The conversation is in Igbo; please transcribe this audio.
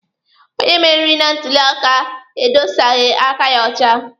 Onye meriri na ntuli aka edosaghi aka ya ọcha.